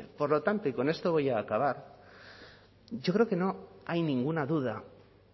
por lo tanto y con esto voy a acabar yo creo que no hay ninguna duda